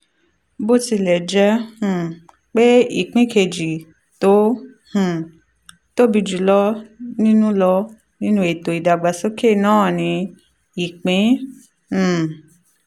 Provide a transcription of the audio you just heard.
bó tilẹ̀ jẹ́ um pé ìpín kejì tó um tóbi jù lọ nínú lọ nínú ètò ìdàgbàsókè náà ni ìpín um